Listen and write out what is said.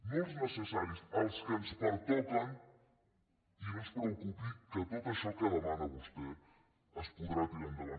no els necessaris els que ens pertoquen i no es preocupi que tot això que demana vostè es podrà tirar endavant